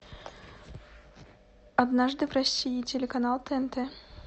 однажды в россии телеканал тнт